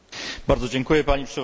Pani przewodnicząca!